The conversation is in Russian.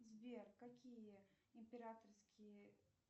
сбер какие императорские